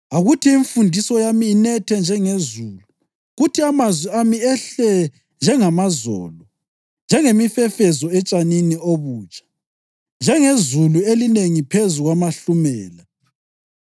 Akuthi imfundiso yami inethe njengezulu kuthi amazwi ami ehle njengamazolo, njengemifefezo etshanini obutsha, njengezulu elinengi phezu kwamahlumela.